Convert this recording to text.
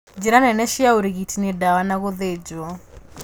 Njira nene cia ũrigiti nĩ dawa na gũthĩnjwo